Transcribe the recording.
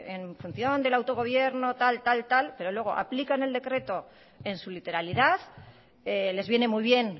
en función del autogobierno tal tal tal pero luego aplican el decreto en su literalidad les viene muy bien